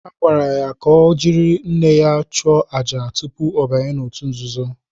Ha gwara ya ka ọ jiri nne ya chụọ àjà tupu ya abanye n’òtù nzuzo.